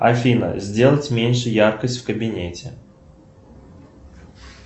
афина сделать меньше яркость в кабинете